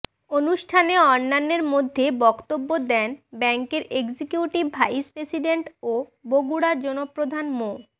অনুষ্ঠানে অন্যান্যের মধ্যে বক্তব্য দেন ব্যাংকের এক্সিকিউটিভ ভাইস প্রেসিডেন্ট ও বগুড়া জোনপ্রধান মো